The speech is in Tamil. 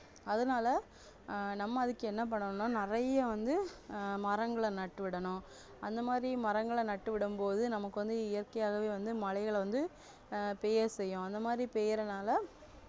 அதனால ஆஹ் நம்ம அதுக்கு என்ன பண்ணணும்னா நிறைய வந்து ஆஹ் மரங்களை நட்டு விடணும் அந்தமாதிரி மரங்களை நட்டுவிடும் போது நமக்கு வந்து இயற்கையாகவே வந்து மழைகளை வந்து ஆஹ் பெய்ய செய்யும் அந்தமாதிரி பெய்யுறதுனால